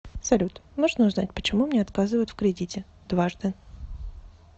салют можно узнать почему мне отказывают в кредите дважды